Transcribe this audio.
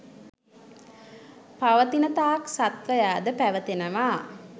පවතිනතාක් සත්වයාද පැවතෙනවා.